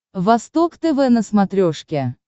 восток тв на смотрешке